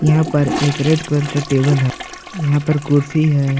यहां पर एक रेड कलर का टेबल है यहां पर कुर्सी है।